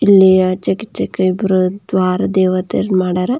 ಇಲ್ಲಿ ಆಚೆ ಇಚ್ಛೆ ಇಬ್ರು ದ್ವಾರ ದೇವೆತೆ ಮಾಡಾರ.